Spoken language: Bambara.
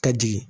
Ka jigin